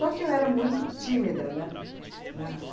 que eu era muito tímida, né? Na